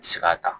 Sika ta